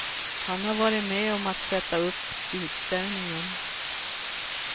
Han har varit med om att sätta upp utställningen.